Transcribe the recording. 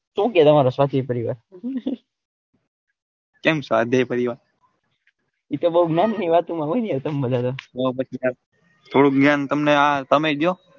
શું કે તમારા રસાપીર પરિવારે કેમ એતો બૌ નામ ની વાતો માં હોય ને થોડું જ્ઞાન તમે બ દયો.